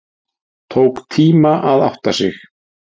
Tók tíma að átta sig